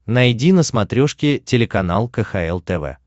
найди на смотрешке телеканал кхл тв